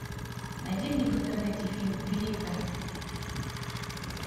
найди мне в интернете фильм великая